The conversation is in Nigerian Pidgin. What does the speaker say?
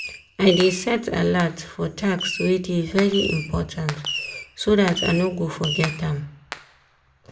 i dey set alert for task wey dey very important so dat i no go forget am.